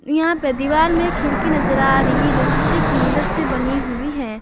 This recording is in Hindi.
यहां पे दीवार में खिड़की नजर आ रही है जो शीशे की मदद से बनी हुई है।